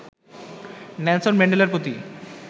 Nelson ম্যান্ডেলার প্রতি